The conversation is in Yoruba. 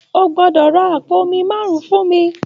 O gbọ́dọ̀ ra àpò omi márùn-ún fún mi